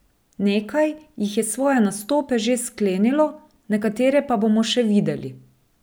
Nekaj jih je svoje nastope že sklenilo, nekatere pa bomo še videli.